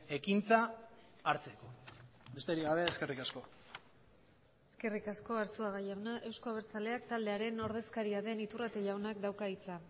ekintza hartzeko besterik gabe eskerrik asko eskerrik asko arzuaga jauna euzko abertzaleak taldearen ordezkaria den iturrate jaunak dauka hitza